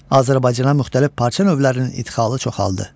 Azərbaycana müxtəlif parça növlərinin idxalı çoxaldı.